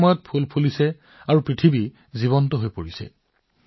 এই সময়তেই বিভিন্ন ফুল ফুলে আৰু প্ৰকৃতি জীৱন্ত হৈ পৰে